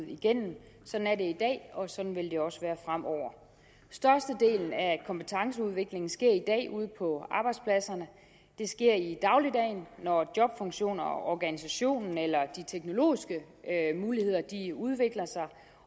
igennem sådan er det i dag og sådan vil det også være fremover størstedelen af kompetenceudviklingen sker i dag ude på arbejdspladserne det sker i dagligdagen når jobfunktionerne og organisationen eller de teknologiske muligheder udvikler sig